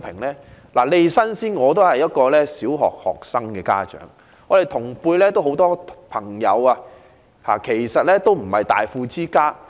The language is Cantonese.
我先申報利益，我也是一名小學生的家長，同輩很多朋友亦非大富之家。